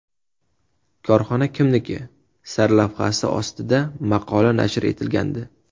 Korxona kimniki?” sarlavhasi ostida maqola nashr etilgandi.